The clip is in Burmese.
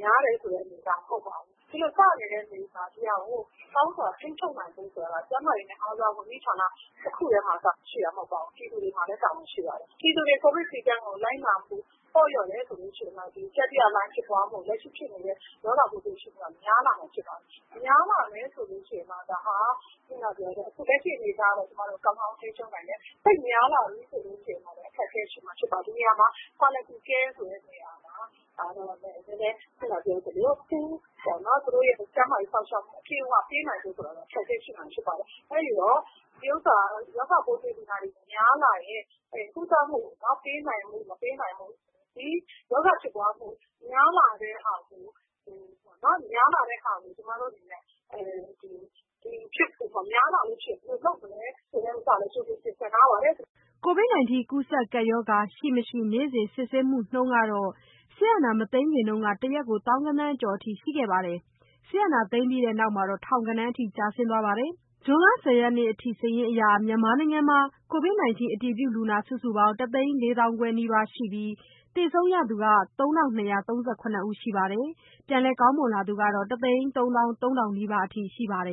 များတယ်ဆိုတဲ့ အနေအထားမဟုတ်ပါဘူး။ ဒီလိုစနေတာကိုကောင်းကောင်းထိန်းချုပ်ဖို့က ကျန်းမာရေး ဌာနတခုထဲ လုပ်လို့မရပါဘူး။ ပြည်သူတွေမှာလဲတာဝန်ရှိပါတယ်။ ပြည်သူတွေကိုဗစ် စည်းကမ်းပေါ့လျော့တယ်ဆိုရင် လက်ရှိရောဂါဖြစ်ပွားမှုက များလာမှာဖြစ်ပါတယ်။ များလာမယ်ဆိုရင် လက်ရှိအနေအထားကကျမတို့ကောင်းကောင်းထိန်းချုပ်နိုင်တယ်။ သိပ်များလာပြီဆိုရင်တော့ အခက်အခဲ ဖြစ်လာမှာပါ။ ဒီနေရာမှာ quality care ဆိုတာကတော့ ခုနပြောသလို ကျန်းမာရေးစောင့် ရှောက်မှု ခက်လာမှာဖြစ်ပါတယ်။ ရောဂါပိုးကူးစက်တာများလာရင်ဘယ်လိုလုပ်မလဲဆိုတာကိုလည်း ကျမတို့ ကြိုတင်ပြင်ဆင်ထားပါတယ်။" ကိုဗစ်ကပ်ရောဂါ ရှိ မရှိ နေ့စဉ် စစ်ဆေးမှုနှုန်းက စစ်အာဏာမသိမ်းခင်ကတရက်ကို သောင်းဂဏန်းကျော်ရှိခဲ့ရာက စစ်အာဏာသိမ်းပြီးနောက် ထောင်ဂဏန်းအထိ ကျဆင်းသွားပါတယ်။ ဇွန်လ ၁၀ ရက်နေ့အထိ မြန်မာနိုင်ငံမှာ အတည်ပြုလူနာ စုစုပေါင်း ၁ သိန်း ၄ သောင်းခွဲနီးပါးရှိနေပြီး သေဆုံးသူ ၃၂၃၇ ယောက် ပြန်လည်နေကောင်းလာသူ ၁ သိန်း ၃ သောင်း ၃ ထောင်နီးပါးရှိပါတယ်